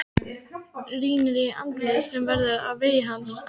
Rýnir í andlit sem verða á vegi hans.